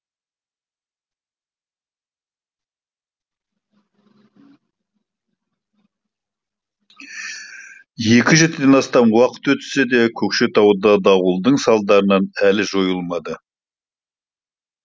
екі жетіден астам уақыт өтсе де көкшетауда дауылдың салдары әлі жойылмады